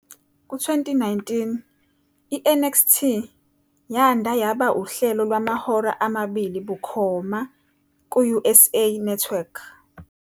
Ku-2019, i- "NXT" yanda yaba uhlelo lwamahora amabili bukhoma ku-USA Network.